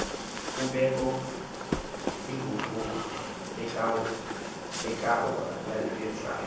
kubekho inguquko ekhawulezileyo